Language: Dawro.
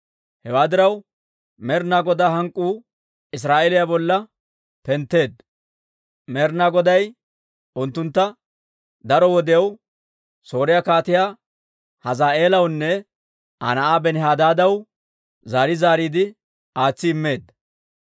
Hewaa diraw, Med'ina Godaa hank'k'uu Israa'eeliyaa bolla pentteedda; Med'ina Goday unttunttu daro wodiyaw Sooriyaa Kaatiyaa Hazaa'eelawunne Aa na'aa Benihadaadaw zaari zaariide aatsi immeedda.